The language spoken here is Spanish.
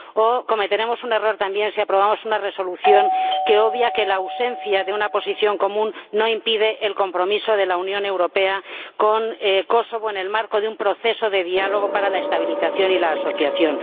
También cometeremos un error si aprobamos una resolución que obvia que la ausencia de una posición común no impide el compromiso de la Unión Europea con Kosovo en el marco de un proceso de diálogo para la estabilización y la asociación.